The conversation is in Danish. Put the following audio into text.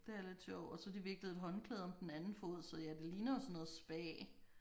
Det er lidt sjovt og så har de viklet et håndklæde om den anden fod så ja det ligner jo sådan noget spa